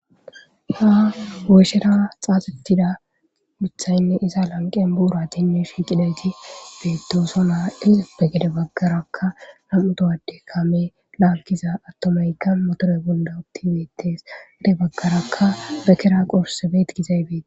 Ha woyishera xaaxettida mithayinne iza buratinne shiiqi uttiday beettosona pude baggaraka namutoha addey kaame laaggiza addey motore bolla uttidi beettees.pude baggaraka bekera qossi gizayti..